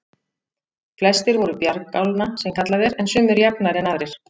Flestir voru bjargálna sem kallað er, en sumir jafnari en aðrir.